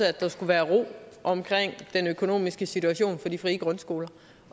at der skulle være ro omkring den økonomiske situation på de frie grundskoler